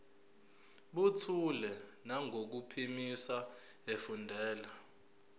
buthule nangokuphimisa efundela